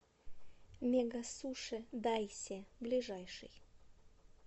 мегасуши дайсе ближайший